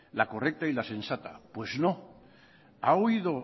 la correcta y la sensata pues no ha oído